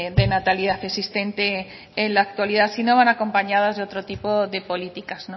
de natalidad existente en la actualidad si no van acompañadas de otro tipo de políticas